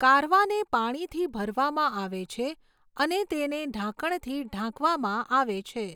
કારવાને પાણીથી ભરવામાં આવે છે અને તેને ઢાંકણથી ઢાંકવામાં આવે છે.